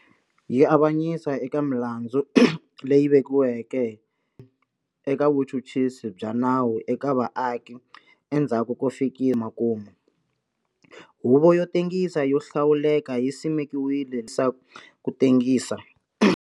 Yi avanyisa eka milandzu leyi vekiweke eka vuchuchisi bya nawu eka vaaki endzhaku ko fika emakumu. Huvo yo Tengisa yo Hlawuleka yi simekiwile leswaku ku tengisa.